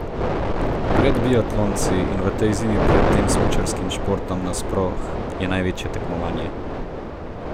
Pred biatlonci in v tej zimi pred tem smučarskim športom nasploh je največje tekmovanje.